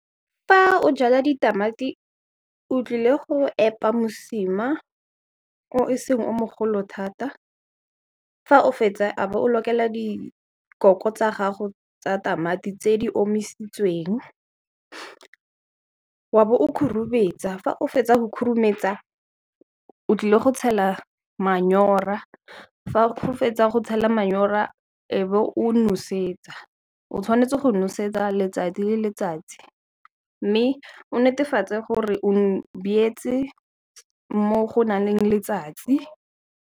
Fa o jala ditamati, o tlile go epa mosima o e seng o mogolo thata, fa o fetsa a bo o dikoko tsa gago tsa tamati tse di omisitsweng, wa bo o khurumetsa. Fa o fetsa go khurumetsa, o tlile go tshela manyora fa o fetsa go tshela manyora, e be o nosetsa. O tshwanetse go nosetsa letsatsi le letsatsi, mme o netefatse gore o byetse mo go nang le letsatsi.